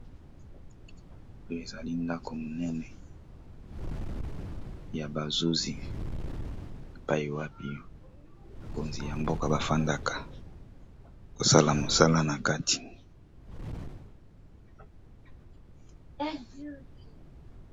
Oyo ezali ndako monene ya bazuzi epai wapi bakonzi ya mboka bafandaka kosala mosala na kati.